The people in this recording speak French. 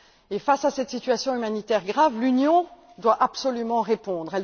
Et face à cette situation humanitaire grave, l'Union doit absolument répondre.